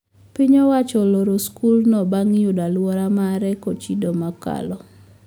Piny owacho oloro skul no bang` yudo oluorea mare kochido mokalo